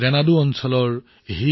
ৰেনাডু ৰাজ্যৰ সূৰ্য